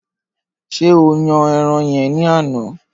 Ṣé o yan ẹran yen ní àná?